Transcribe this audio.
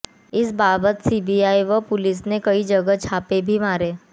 इस बाबत सीबीआई व पुलिस ने कई जगह छापे भी मारे